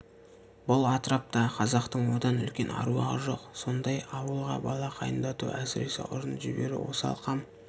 бұл атраптағы қазақтың одан үлкен аруағы жоқ сондай ауылға бала қайындату әсіресе ұрын жіберу осал қам